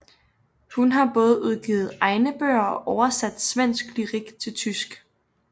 Hun har både udgivet egne bøger og oversat svensk lyrik til tysk